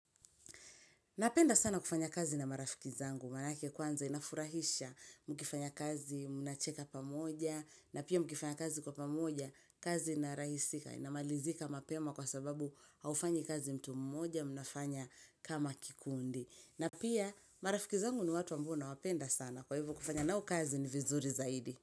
Napenda sana kufanya kazi na marafiki zangu, manake kwanza inafurahisha mkifanya kazi mnacheka pamoja, na pia mkifanya kazi kwa pamoja, kazi inarahisika, inamalizika mapema kwa sababu haufanyi kazi mtu mmoja mnafanya kama kikundi. Na pia marafiki zangu ni watu ambao nawapenda sana, kwa hivo kufanya nao kazi ni vizuri zaidi.